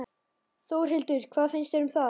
Þórhildur: Hvað finnst þér um það?